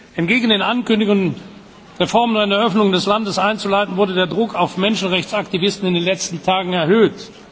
Entgegen der Ankündigung, Reformen und eine Öffnung des Landes einzuleiten, wurde der Druck auf Menschenrechtsaktivisten in den letzten Tagen erhöht.